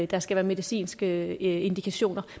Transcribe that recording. der skal være medicinske indikationer